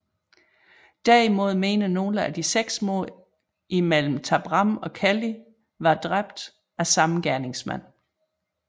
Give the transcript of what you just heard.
Derimod mener nogle at de seks mord imellem Tabram og Kelly var dræbt af samme gerningsmand